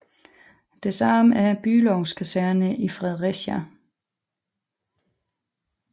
Det samme er Bülows Kaserne i Fredericia